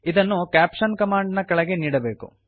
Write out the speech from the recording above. ಇದನ್ನು caption command ನ ಕೆಳಗೆ ನೀಡಬೇಕು